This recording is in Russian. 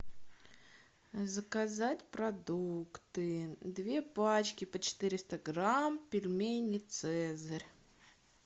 заказать продукты две пачки по четыреста грамм пельмени цезарь